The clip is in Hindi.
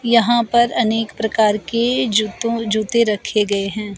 यहां पर अनेक प्रकार के जूतों जूते रखे गए हैं।